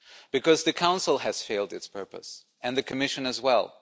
Because the Council has failed its purpose, and the Commission as well.